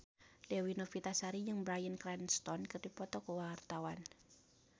Dewi Novitasari jeung Bryan Cranston keur dipoto ku wartawan